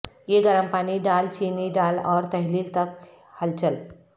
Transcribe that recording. یہ گرم پانی ڈال چینی ڈال اور تحلیل تک ہلچل